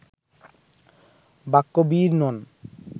বাক্যবীর নন